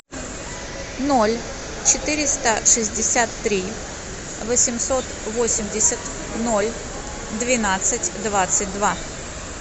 ноль четыреста шестьдесят три восемьсот восемьдесят ноль двенадцать двадцать два